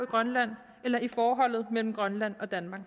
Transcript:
grønland eller i forholdet mellem grønland og danmark